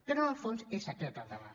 però en el fons és aquest el debat